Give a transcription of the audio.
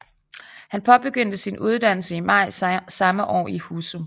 Han påbegyndte sin uddannelse i maj samme år i Husum